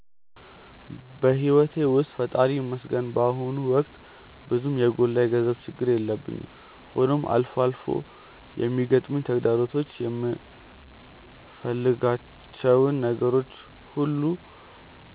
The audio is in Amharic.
በሕይወቴ ውስጥ ፈጣሪ ይመስገን በአሁኑ ወቅት ብዙም የጎላ የገንዘብ ችግር የለብኝም፤ ሆኖም አልፎ አልፎ የሚገጥሙኝ ተግዳሮቶች የምፈልጋቸውን ነገሮች ሁሉ